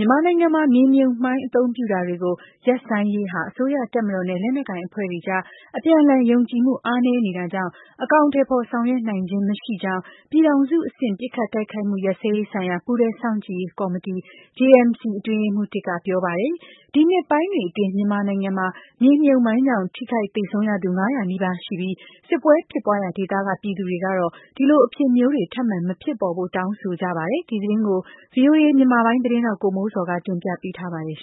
မြန်မာနိုင်ငံမှာ မြေမြုပ်မိုင်းအသုံးပြုတာတွေကို ရပ်ဆိုင်းရေးဟာ အစိုးရတပ်မတော်နဲ့ လက်နက်ကိုင် အဖွဲ့တွေ အကြား အပြန်အလှန်ယုံကြည်မှု အားနည်းနေတာကြောင့် အကောင်အထည်ဖော် ဆောင်ရွက်နိုင်တာ မရှိကြောင်း ပြည်ထောင်စုအဆင့် ပစ်ခတ်တိုက်ခိုက်မှုရပ်စဲရေးဆိုင်ရာ ပူးတွဲစောင့်ကြည့်ရေး ကော်မတီ JMC အတွင်းရေးမှူး ၁ က ပြောပါတယ်။ ဒီနှစ်ပိုင်းတွေအတွင်း မြန်မာနိုင်ငံမှာ မြေမြုပ်မိုင်းကြောင့် ထိခိုက်သေဆုံးရသူ ၅၀၀နီးပါးရှိနေပြီး စစ်ပွဲဖြစ်ပွားရာဒေသက ပြည်သူတွေကတော့ ဒီလိုအဖြစ်မျိုးတွေ ထပ်မံမဖြစ်ပေါ်စေဖို့ တောင်းဆို ကြပါတယ်။ ဒီသတင်းကိုတော့ ဗွီအိုအေ မြန်မာပိုင်းရဲ့သတင်းထောက် ကိုမိုးဇော်က တင်ပြထားပါတယ်။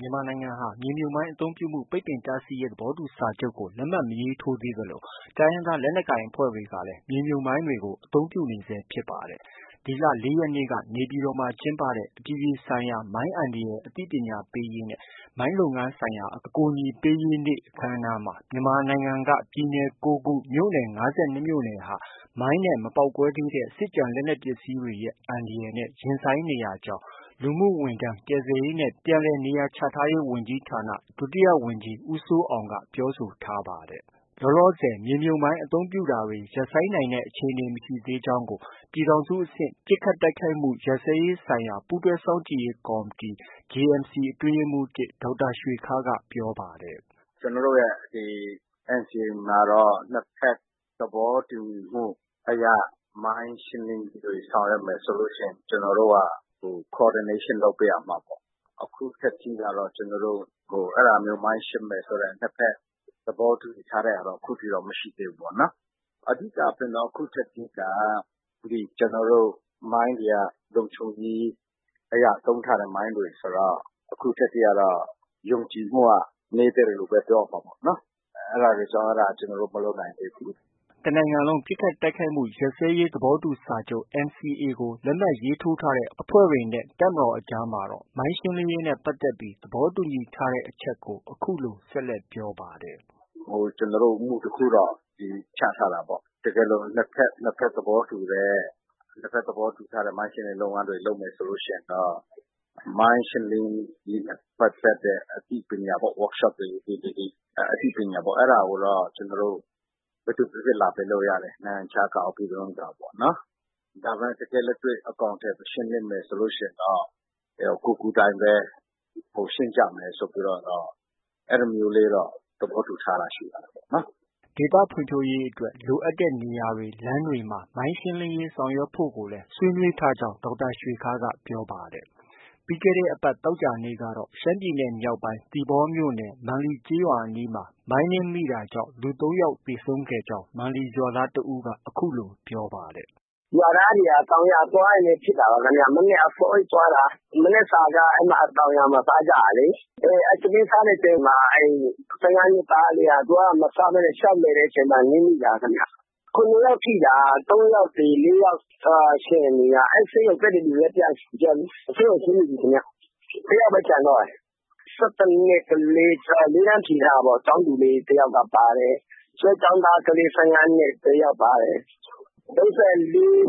မြန်မာနိုင်ငံဟာ မြေမြုပ်မိုင်းအသုံးပြုမှု ပိတ်ပင်တားဆီးရေး သဘောတူစာချုပ်ကို လက်မှတ်မရေးထိုး သေးသလို တိုင်းရင်းသားလက်နက်ကိုင်အဖွဲ့တွေကလည်း မြေမြုပ်မိုင်းတွေကို အသုံးပြုနေဆဲဖြစ်ပါတယ်။ ဒီလ ၄ရက်နေ့က နေပြည်တော်မှာ ကျင်းပတဲ့ အပြည်ပြည်ဆိုင်ရာ မိုင်းအန္တရာယ် အသိပညာပေးရေးနဲ့ မိုင်းလုပ်ငန်းဆိုင်ရာ အကူအညီပေးရေးနေ့ အခမ်းအနားမှာ မြန်မာနိုင်ငံက ပြည်နယ် ၉ခု မြို့နယ် ၅၂မြို့နယ်ဟာ မိုင်းနဲ့ မပေါက်ကွဲသေးတဲ့ စစ်ကျန် လက်နက်ပစ္စည်းတွေရဲ့ အန္တရာယ်နဲ့ ရင်ဆိုင်နေရကြောင်း လူမှုဝန်ထမ်း၊ ကယ်ဆယ်ရေးနဲ့ ပြန်လည်နေရာချထားရေးဝန်ကြီးဌာန ဒုဝန်ကြီး ဦးစိုးအောင်က ပြောဆိုထားပါတယ်။ လောလောဆည် မြေမြုပ်မိုင်းအသုံးပြုတာတွေ ရပ်ဆိုင်းနိုင်တဲ့အခြေအနေမရှိသေးကြောင်းကို ပြည်ထောင်စု အဆင့် ပစ်ခတ်တိုက်ခိုက်မှုရပ်စဲရေးဆိုင်ရာ ပူးတွဲစောင့်ကြည့်ရေး ကော်မတီ JMC အတွင်းရေးမှူး ၁ ဒေါက်တာ ရွှေခါးရ်က ပြောပါတယ်။ “ကျနော်တို့ရဲ့ NCA မှာတော့ နှစ်ဘက် သဘောတူမှုအရ မိုင်းရှင်းလင်းရေးတွေ ဆောင်ရွက်မယ်ဆိုရင် ကျနော်တို့က coordination လုပ်ပေးရမှာပေါ့။ အခုထက်ထိကတော့ ကျနော်တို့ အဲဒါမျိုးမိုင်းရှင်းမယ်ဆိုတဲ့ နှစ်ဘက်သဘောတူညီထားတာတော့ အခုထိတော့ မရှိသေးဘူး။ အဓိကဖြင့်တော့ အခုထက်ထိက ကျနော်တို့ မိုင်းတွေက လုံခြုံရေးအရ သုံးထားတဲ့ မိုင်းတွေ ဆိုတော့ အခုထက်ထိကတော့ ယုံကြည်မှုက နည်းသေးတယ် လို့ပဲ ပြောရမှာပေါ့နော်။ အဲဒါတွေကြောင့် အဲဒါ ကျနော်တို့ မလုပ်နိုင်သေးဘူး။” တစ်နိုင်ငံလုံး ပစ်ခတ်တိုက်ခိုက်မှုရပ်စဲရေး သဘောတူစာချုပ် NCA ကို လက်မှတ်ရေးထိုးထားတဲ့ အဖွဲ့တွေနဲ့ အစိုးရတပ်မတော်အကြားမှာတော့ မိုင်းရှင်းလင်းရေးနဲ့ပတ်သက်ပြီး သဘောတူညီထားတဲ့ အချက်ကို အခုလို ဆက်လက်ပြောပါတယ်။ “ကျနော်တို့ မူတစ်ခုတော့ ချထားတာပေါ့။ တကယ်လို့ နှစ်ဘက် သဘောတူတဲ့ မိုင်းရှင်းလင်းရေး လုပ်ငန်းတွေ လုပ်မယ်ဆိုရင်တော့ မိုင်းရှင်းလင်းရေးနဲ့ပတ်သက်တဲ့ အသိပေး workshop တွေ၊ activity တွေ အသိပညာကိုတော့ ဘယ်သူပေးပေး လာပေးလို့ရတယ်။ နိုင်ငံခြားကရော၊ ပြည်တွင်းကရောပေါ့။ ဒါပေမဲ့ တကယ်လက်တွေ့ ရှင်းလင်းမယ်ဆိုရင်တော့ ကိုယ်ကိုယ်တိုင်ပဲ ကိုယ်ရှင်းကြမယ်ဆိုပြီးတော့ အဲဒါမျိုးတော့ သဘောတူထားတာရှိပါတယ်။” ဒေသဖွံ့ဖြိုးရေးအတွက် လိုအပ်တဲ့ နေရာတွေ၊ လမ်းတွေမှာ မိုင်းရှင်းလင်းရေး ဆောင်ရွက်ဖို့ကိုလည်း ဆွေးနွေး ထားကြောင်း ဒေါက်တာရွှေခါးရ်က ပြောပါတယ်။ ပြီးခဲ့တဲ့ အပတ်သောကြာနေ့ကတော့ ရှမ်းပြည်နယ်မြောက်ပိုင်း သီပေါမြို့နယ် မန်လီရွာအနီးမှာ မိုင်းနင်းမိတာ ကြောင့် လူ ၃ ယောက်သေဆုံးကြောင်း မန်လီရွာသားတဦးက အခုလို ပြောပါတယ်။ “ရွာသားတွေက တောင်ရွာသွားရင်းနဲ့ ဖြစ်တာပါခင်ဗျ။ မနက်အစောကြီး သွားတာ။ မနက်စာက တောင်ယာမှာ စားကြတာလေ။ အဲ ထမင်းစားနေတဲ့အချိန်မှာ ၁၅နှစ်သားလေးက သူက မစားဘဲနဲ့ လျှောက်လည်တဲ့အချိန်မှာ နင်းမိတာခင်ဗျ။ ၇ယောက်ထိတာ ၃ယောက်သေ၊ ၄ယောက် ရှင်တယ်။ အဲဒီဆေးရုံတက်တဲ့သူတွေလည်း ပြန်ဆင်းပြီ။ တစ်ယောက်ပဲ ကျန်တော့တယ်။ ၁၁နှစ်ကလေး သူက လေးတန်းဖြေထားတာပေါ့ ကျောင်းသူလေး တစ်ယောက်ပါတယ်။ ကျွဲကျောင်းသားကလေး ၁၅နှစ် တစ်ယောက်ပါတယ်။ ၃၄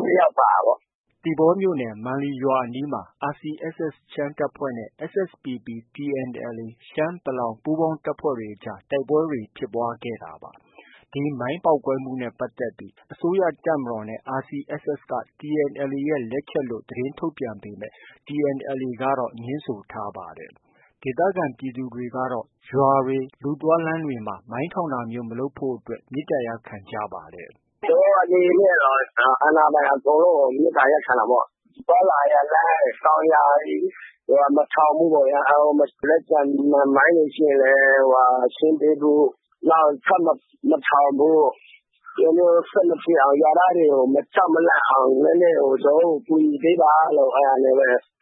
တစ်ယောက်ပါတာပေါ့။” သီပေါမြို့နယ် မန်လီရွာအနီးမှာ RCSS ရှမ်းတပ်ဖွဲ့ နဲ့ SSPP၊ TNLA ရှမ်း၊ ပလောင် ပူးပေါင်းတပ်တွေအကြား တိုက်ပွဲ ဖြစ်ပွားခဲ့တာပါ။ ဒီမိုင်းပေါက်ကွဲမှုနဲ့ ပတ်သက်ပြီး အစိုးရတပ်မတော်နဲ့ RCSS က TNLA ရဲ့ လက်ချက်လို့ သတင်းထုတ်ပြန်ပေမဲ့ TNLA ကတော့ ငြင်းဆိုထားပါတယ်။ ဒေသခံ ပြည်သူတွေကတော့ ကျေးရွာတွေ၊ လူသွားလမ်းတွေမှာ မိုင်းထောင်တာမျိုး ဆက်မလုပ်ဖို့အတွက် မေတ္တာရပ်ခံကြပါတယ်။ “ကျနော်တို့ အနေနဲ့ကတော့ အာဏာပိုင် အကုန်လုံးကို မေတ္တာရပ်ခံတာပေါ့။ သွားလာရာလမ်း၊ တောင်ယာတွေ မှာ မထောင်ဖို့ပေါ့ဗျာ။ လက်ကျန် မိုင်းတွေ ရှိရင်လည်းရှင်းပေးဖို့။ နောက် ထပ်မထောင်ဖို့၊ ဒီလိုမျိုး ဆက်မဖြစ်အောင်၊ ရွာသားတွေကို မကြောက်မလန့်အောင် ကျနော်တို့ကို ကူညီပေးပါလို့ပဲ တော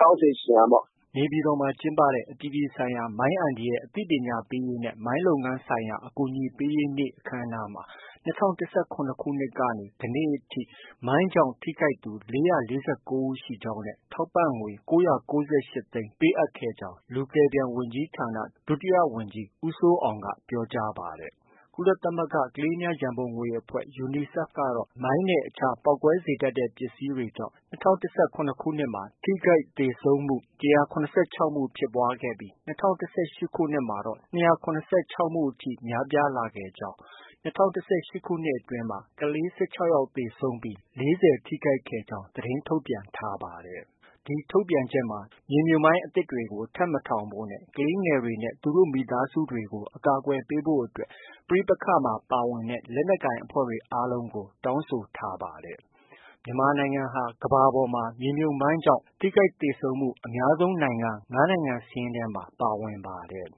င်းဆိုချင်တာပေါ့။ ” နေပြည်တော်မှာ ကျင်းပတဲ့ အပြည်ပြည်ဆိုင်ရာ မိုင်းအန္တရာယ် အသိပညာပေးရေးနဲ့ မိုင်းလုပ်ငန်းဆိုင်ရာ အကူအညီပေးရေးနေ့ အခမ်းအနားမှာ ၂၀၁၇ခုနှစ်ကနေ ယနေ့အထိ မိုင်းကြောင့် ထိခိုက်သူ ၄၄၉ ဦးရှိကြောင်းနဲ့ ထောက်ပံငွေ ၉၉၈ သိန်းထောက်ပံ့ခဲ့ကြောင်း လူကယ်ပြန်ဝန်ကြီးဌာန ဒုဝန်ကြီး ဦးစိုးအောင်က ပြောကြားပါတယ်။ ကုလသမဂ္ဂ ကလေးများရံပုံငွေအဖွဲ့ UNICEF ကတော့ မိုင်းနဲ့ အခြားပေါက်ကွဲစေတတ်တဲ့ပစ္စည်း တွေကြောင့် ၂၀၁၇ ခုနှစ်မှာ ထိခိုက်သေဆုံးမှု ၁၇၆ မှုဖြစ်ပွားပြီး ၂၀၁၈ ခုနှစ်မှာတော့ ၂၇၆မှုအထိ များပြားလာခဲ့ကြောင်း၊ ၂၀၁၈ ခုနှစ်အတွင်းမှာ ကလေး ၁၆ယောက်သေဆုံးပြီး ၄၀ထိခိုက်ခဲ့ကြောင်းသတင်းထုတ်ပြန်ထားပါတယ်။ ဒီထုတ်ပြန်ချက်မှာ မြေမြုပ်မိုင်းအသစ်တွေ ထပ်မထောင်ဖို့နဲ့ ကလေးငယ်တွေနဲ့ သူတို့ မိသားစုတွေကို ကာကွယ်ပေးဖို့အတွက် ပဋိပက္ခမှာ ပါဝင်တဲ့ လက်နက်ကိုင်အဖွဲ့တွေ အားလုံးကို တောင်းဆိုထားပါတယ်။ မြန်မာနိုင်ငံဟာ ကမ္ဘာပေါ်မှာ မြေမြှုပ်မိုင်းကြောင့် ထိခိုက်သေဆုံးမှု အများဆုံး နိုင်ငံ ၅ နိုင်ငံစာရင်းထဲမှာ ပါဝင်ပါတယ်